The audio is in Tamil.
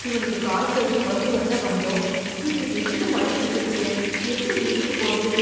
இவனுக்கு காய்ச்சல்னு மருத்துவர்ட்ட வந்தோம், இப்படி திடீர்னு மழ பிடிச்சுருச்சே, எப்படி வீட்டுக்குப் போறது?